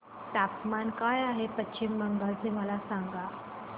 तापमान काय आहे पश्चिम बंगाल चे मला सांगा